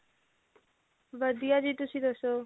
ਵਧੀਆ ਜੀ ਤੁਸੀਂ ਦੱਸੋ